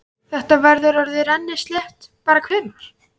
Þetta verður orðið rennislétt bara hvenær?